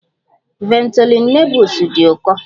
Ventolin Nebules dị ụkọ